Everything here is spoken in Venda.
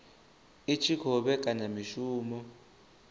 i tshi khou vhekanya mishumo